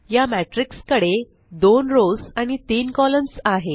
या मॅट्रिक्स कडे 2 रोस आणि 3 कॉलम्स आहे